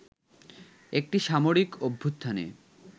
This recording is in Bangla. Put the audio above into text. একটি সামরিক অভ্যুত্থানে